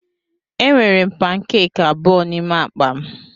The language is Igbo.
Enwere m pankeki abụọ n'ime akpa m.